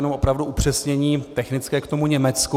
Jenom opravdu upřesnění technické k tomu Německu.